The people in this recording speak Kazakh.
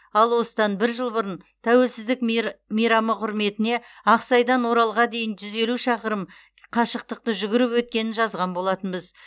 ал осыдан бір жыл бұрын тәуелсіздік мер мейрамы құрметіне ақсайдан оралға дейін жүз елу шақырым қашықтықты жүгіріп өткенін жазған болатынбыз